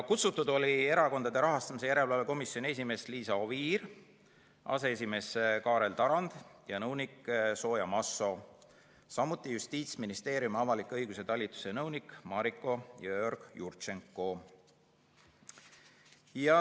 Kutsutud olid Erakondade Rahastamise Järelevalve Komisjoni esimees Liisa Oviir, aseesimees Kaarel Tarand ja nõunik Zoja Masso, samuti Justiitsministeeriumi avaliku õiguse talituse nõunik Mariko Jõeorg-Jurtšenko.